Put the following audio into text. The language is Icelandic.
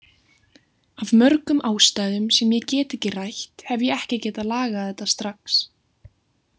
Af mörgum ástæðum sem ég get ekki rætt, hef ég ekki getað lagað þetta strax.